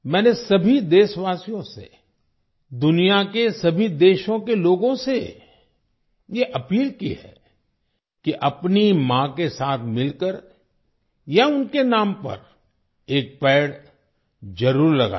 मैंने सभी देशवासियों से दुनिया के सभी देशों के लोगों से ये अपील की है कि अपनी माँ के साथ मिलकर या उनके नाम पर एक पेड़ जरूर लगाएं